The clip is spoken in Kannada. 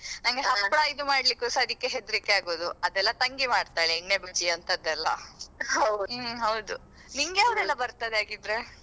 ನಂಗೆ ಹಪ್ಪಳ ಇದು ಮಾಡ್ಲಿಕ್ಕೆಸ ಅದ್ಕೆ ಹೆದ್ರಿಕೆ ಆಗುದು ಅದೆಲ್ಲಾ ತಂಗಿ ಮಾಡ್ತಾಳೆ ಎಣ್ಣೆ ಬಜ್ಜಿ ಅಂತದೇಲ್ಲಾ ಹೌದು ಹ್ಮ್ ಹೌದು ನಿಂಗೆ ಯಾವದೆಲ್ಲಾ ಬರ್ತದೆ ಹಾಗಿದ್ರೆ.